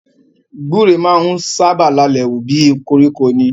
Gbúre máa ń sábà lalẹ̀ wù bí i koríko ni.